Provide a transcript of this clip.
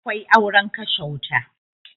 Akwai auren kashe wuta